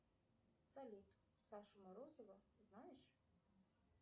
салют сашу морозова знаешь